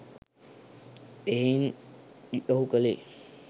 එහෙයින් ඔහු කළේ